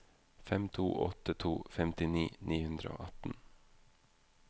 fem to åtte to femtini ni hundre og atten